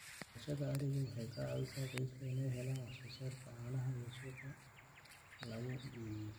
Dhaqashada arigu waxay ka caawisaa qoyska inay helaan wax-soo-saarka caanaha oo suuqa lagu iibiyo.